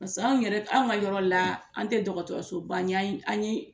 an yɛrɛ an ka yɔrɔ la an tɛ dɔgɔtɔrɔsoba ye an ye